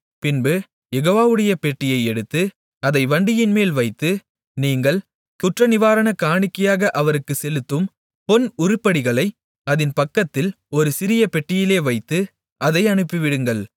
பின்பு யெகோவாவுடைய பெட்டியை எடுத்து அதை வண்டியின்மேல் வைத்து நீங்கள் குற்றநிவாரணக் காணிக்கையாக அவருக்குச் செலுத்தும் பொன் உருப்படிகளை அதின் பக்கத்தில் ஒரு சிறிய பெட்டியிலே வைத்து அதை அனுப்பிவிடுங்கள்